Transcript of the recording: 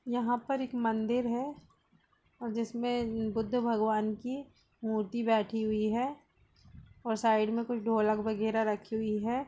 यहाँ पर एक मंदिर हैं और जिसमे बुद्ध भगवान की मूर्ति बैठी हुई है और साइड में कुछ ढोलक वगेरा राखी हुई हैं।